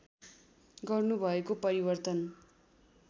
गर्नु भएको परिवर्तन